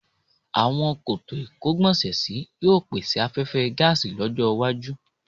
Àwọn koto ìkógbọ̀nsẹ̀sí yóò pèsè afẹhfẹ́ gáàsì lọ́jọ́-iwájú.